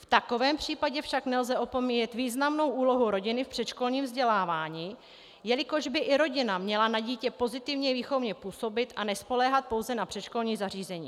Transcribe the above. V takovém případě však nelze opomíjet významnou úlohu rodiny v předškolním vzdělávání, jelikož by i rodina měla na dítě pozitivně výchovně působit a nespoléhat pouze na předškolní zařízení.